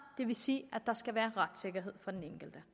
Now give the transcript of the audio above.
det vil sige at der skal være retssikkerhed for den enkelte